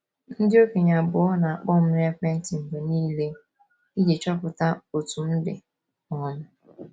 Ndị okenye abụọ na - akpọ m n'ekwentị mgbe nile iji chọpụta otú m dị. um